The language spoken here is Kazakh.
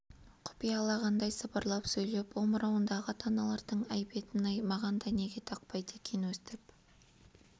құпиялағандай сыбырлай сөйлеп омырауындағы таналардың әйбетін-ай маған да неге тақпайды екен өстіп